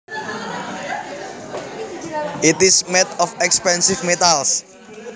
It is made of expensive metals